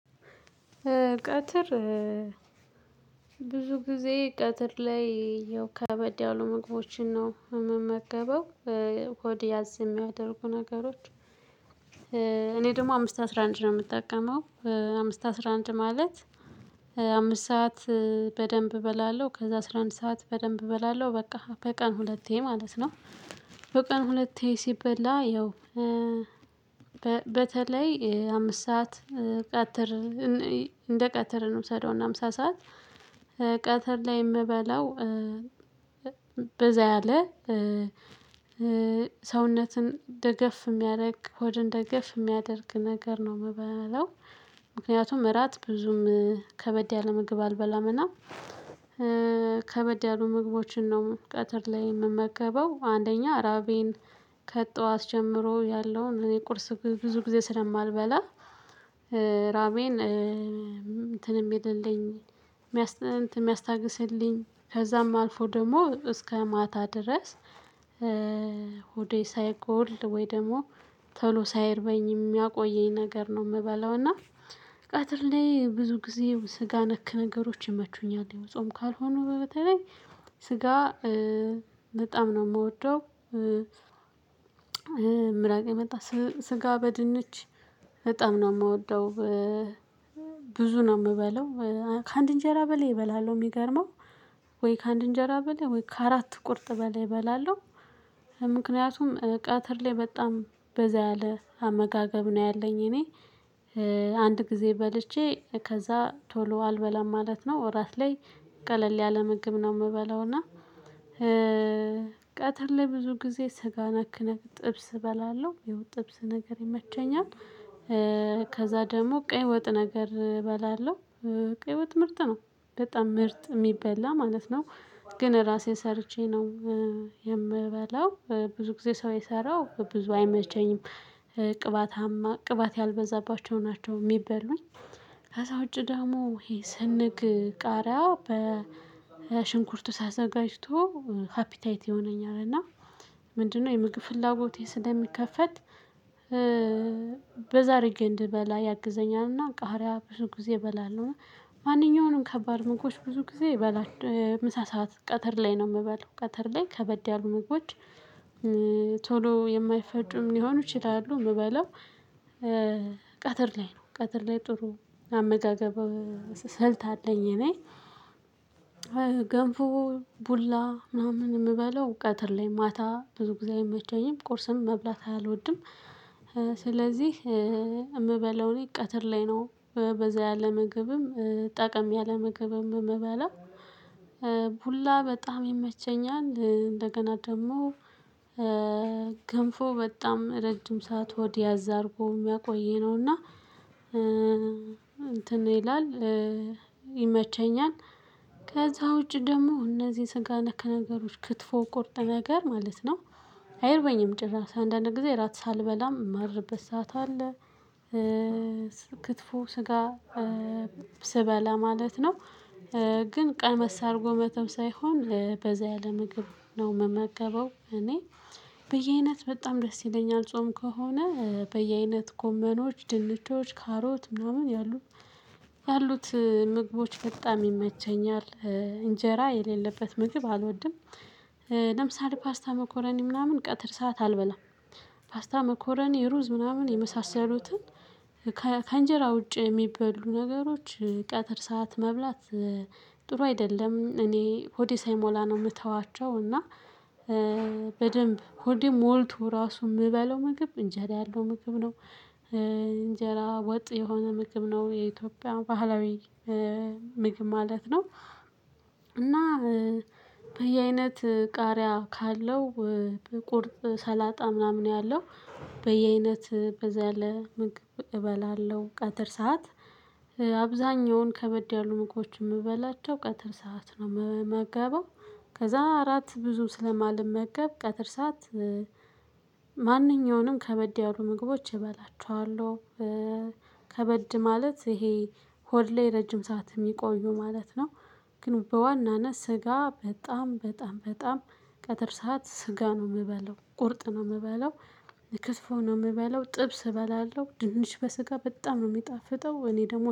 ቀትር ብዙ ጊዜ ቀትር ላይ ያው ከበድ ያሉ ምግቦችን ነው የምመገበው። ሆድ ያዝ የሚያደርጉ ነገሮች። እኔ ደግሞ አምስት አስራ አንድ ነው የምጠቀመው። አምስት አስራ አንድ ማለት አምስት ሰዓት በደንብ እበላለሁ። ከዛ አስራ አንድ ሰዓት በደንብ እበላለሁ በቃ በቀን ሁለቴ ማለት ነው። በቀን ሁለቴ ሲበላ ያው። በተለይ አምስት ሰዓት ቀትር እንደ ቀትር እንውሰደው እና ምሳ ሰዓት ቀትር ላይ የምበላው። በዛ ያለ ሰውነትን ደገፍ የሚያደርግ ሆድን ደገፍ የሚያደርግ ነገር ነው የምበለው። ምክንያቱም እራት ብዙም ከበድ ያለ ምግብ አልበላምና። ከበድ ያሉ ምግቦችን ነው ቀትር ላይ የምመገበው። አንደኛ ራቤን ከጠዋት ጀምሮ ያለውን እኔ ቁርስ ብዙ ጊዜ ስለማልበላ። ራቤን እንትን የሚልልኝ የሚያስታግስልኝ ከዛም አልፎ ደግሞ እስከ ማታ ድረስ። ሆዴ ሳይጎል ወይ ደግሞ ቶሎ ሳይርበኝ የሚያቆየኝ ነገር ነው የምበለው። እና ቀትር ላይ ብዙ ጊዜ ስጋ ነክ ነገሮች ይመቹኛል ያው ጾም ካልሆኑ በተለይ ስጋ በጣም ነው የምወደው። ምራቅ የመጣ ስጋ በድንች በጣም ነው የምወደው። ብዙ ነው የምበለው። ከአንድ እንጀራ በላይ እበላለሁ የሚገርመው ወይ ከአንድ እንጀራ በላይ ወይ ከአራት ቁርጥ በላይ እበላለሁ። ምክንያቱም ቀትር ላይ በጣም በዛ ያለ አመጋገብ ነው ያለኝ እኔ። አንድ ጊዜ በልቼ ከዛ ቶሎ አልበላም ማለት ነው። እራት ላይ ቀለል ያለ ምግብ ነው የምበለው እና። ቀትር ለብዙ ጊዜ ስጋ ነክነክ ጥብስ እበላለሁ የው ጥብስ ነገር ይመቸኛል። ከዛ ደግሞ ቀይ ወጥ ነገር እበላለሁ። የህይወት ምርጥ ነው በጣም ምርጥ የሚበላ ማለት ነው። ግን ራሴ ሰርቼ ነው የምበላው ብዙ ጊዜ ሰው የሰራው ብዙ አይመቸኝም። ቅባታማ ቅባት ያልበዛባቸው ናቸው የሚበሉኝ። ከዛ ውጪ ዳሞ ይሄ ስንግ ቃሪያው በ ሽንኩርቱ ተዘጋጅቶ ሃፒታይት የሆነነኛልና ምንድነው የምግብ ፍላጎቴ ስለሚከፈት። በዛ አድርጌ እንድበላ ያግዘኛልና ቃሪያ ብዙ ጊዜ እበላለሁ። ማንኛውንም ከባድ ምግቦች ብዙ ጊዜ እበላል ምሳ ሰዓት ቀትር ላይ ነው የምበለው። ቀትር ላይ ከበድ ያሉ ምግቦች ቶሎ የማይፈጩም ሊሆኑ ይችላሉ የምበለው። ቀትር ላይ ነው ቀትር ላይ ጥሩ አመጋገብ ስልት አለኝ እኔ። ገንፎ ቡላ ምናምን የምበለው ቀትር ላይ ማታ ብዙ ጊዜ አይመቸኝም ቁርስም መብላት አልወድም። ስለዚህ የምበለውን ቀትር ላይ ነው በዛ ያለ ምግብም ጠቀም ያለ ምግብም እምበላው። ቡላ በጣም ይመቸኛል እንደገና ደግሞ ገንፎ በጣም ረጅም ሰዓት ሆድ ያዝ አድርጎ የሚያቆይ ነውና። እንትን ይላል ይመቸኛል። ከዛ ውጪ ደግሞ እነዚህ ስጋ ነክ ነገሮች ክትፎ ቁርጥ ነገር ማለት ነው። አይርበኝም ጭራሽ አንዳንድ ጊዜ ራት ሳልበላም የማድርበት ሰዓት አለ። ክትፎ ስጋ ስበላ ማለት ነው። ግን ቀመስ አድርጎ መተው ሳይሆን በዛ ያለ ምግብ ነው የምመገበው እኔ። በየአይነት በጣም ደስ ይለኛል ጾም ከሆነ በየአይነት ጎመኖች ድንቾች ካሮት ምናምን ያሉ ያሉት ምግቦች በጣም ይመቸኛል። እንጀራ የሌለበት ምግብ አልወድም። ለምሳሌ ፓስታ መኮረኒ ምናምን ቀጥር ሰዓት አልበላም። ፓስታ መኮረኒ ሩዝ ምናምን የመሳሰሉትን ከእንጀራ ውጪ የሚበሉ ነገሮች ቀትር ሰዓት መብላት። ጥሩ አይደለም እኔ ሆዴ ሳይሞላ ነው የምተዋቸው እና። በደንብ ሆድም ሞልቶ ራሱ የምበለው ምግብ እንጀራ ያለው ምግብ ነው። እንጀራ ወጥ የሆነ ምግብ ነው የኢትዮጵያ ባህላዊ ምግብ ማለት ነው። እና በየአይነት ቃሪያ ካለው በቁርጥ ሰላጣ ምናምን ያለው በየአይነት በዛ ያለ ምግብ እበላለሁ። ቀጥር ሰዓት አብዛኛውን ከበድ ያሉ ምግቦችን የምበላቸው ቀትር ሰዓት ነው የምመገበው። ከዛ አራት ብዙ ስለማልመገብ ቀትር ሰዓት ማንኛውንም ከበድ ያሉ ምግቦች እበላቸዋለው። ከበድ ማለት ይሄ ሆድ ላይ ረጅም ሰዓት የሚቆዩ ማለት ነው። ግን በዋናነት ስጋ በጣም በጣም በጣም ቀጥር ሰዓት ስጋ ነው የምበለው ቁርጥ ነው የምበለው። ክትፎ ነው የምበለው ጥብስ እበላለሁ ድንች በስጋ በጣም ነው የሚጣፍጠው እኔ ደግሞ